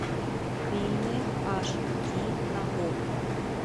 фильмы аш ди на окко